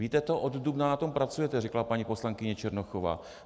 Víte to, od dubna na tom pracujete, řekla paní poslankyně Černochová.